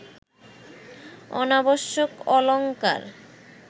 অনাবশ্যক অলঙ্কার